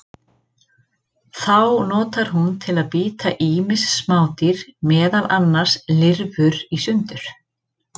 Þá notar hún til að bíta ýmis smádýr, meðal annars lirfur, í sundur.